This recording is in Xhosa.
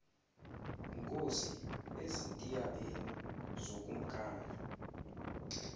khosi ezintiabeni zokumkani